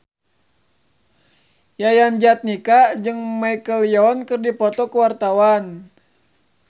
Yayan Jatnika jeung Michelle Yeoh keur dipoto ku wartawan